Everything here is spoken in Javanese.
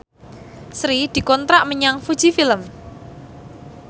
Sri dikontrak kerja karo Fuji Film